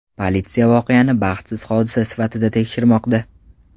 Politsiya voqeani baxtsiz hodisa sifatida tekshirmoqda.